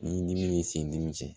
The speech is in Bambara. Ni dimi b'i sen ni min cɛ